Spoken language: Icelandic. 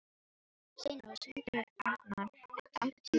Steinrós, hringdu í Arnar eftir áttatíu og sex mínútur.